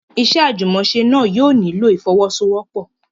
Iṣẹ́ àjùmọ̀ṣe náà yóò nílò ìfọ́wọ́sọwọ́pọ̀.